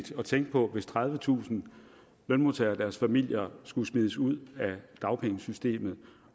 at tænke på hvis tredivetusind lønmodtagere og deres familier skulle smides ud af dagpengesystemet